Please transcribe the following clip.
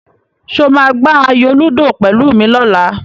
Ṣé o máa gbá ayò lúdò pẹ̀lú mi lọ́la?